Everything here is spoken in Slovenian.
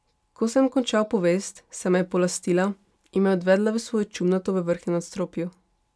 Ko sem končal povest, se me je polastila in me odvedla v svojo čumnato v vrhnjem nadstropju.